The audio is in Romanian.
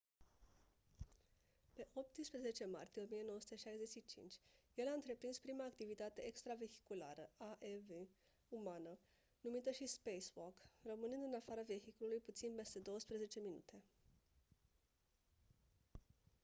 pe 18 martie 1965 el a întreprins prima activitate extravehiculară aev umană numită și «spacewalk» rămânând în afara vehiculului puțin peste douăsprezece minute.